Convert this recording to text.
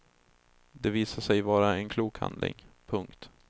Det visade sig vara en klok handling. punkt